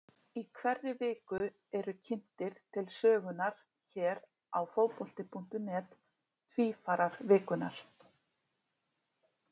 Í hverri viku eru kynntir til sögunnar hér á Fótbolti.net Tvífarar vikunnar.